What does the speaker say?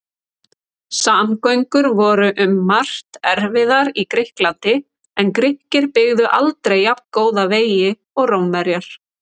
Samgöngur voru um margt erfiðar í Grikklandi en Grikkir byggðu aldrei jafngóða vegi og Rómverjar.